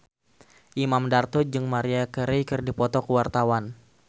Imam Darto jeung Maria Carey keur dipoto ku wartawan